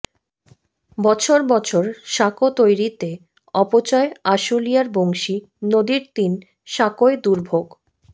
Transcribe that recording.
বছর বছর সাঁকো তৈরিতে অপচয় আশুলিয়ার বংশী নদীর তিন সাঁকোয় দুর্ভোগ